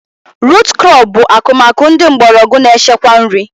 Rut krọp bụ akụmakụ ndị mgbọrọgwụ na-echekwa nri